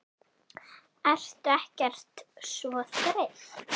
Ertu ekkert svo þreytt?